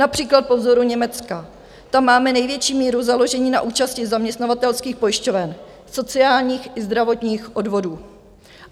Například po vzoru Německa, tam máme největší míru založení na účasti zaměstnavatelských pojišťoven, sociálních i zdravotních odvodů.